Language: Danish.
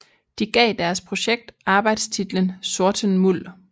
De gav deres projekt arbejdstitlen Sorten Muld